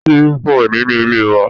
Ṣíbí pọ̀ nínú ilé wa.